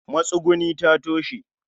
matsuguni ta toshe